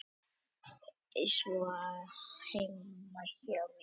Það er svona heima hjá mér, að það skilur mig enginn.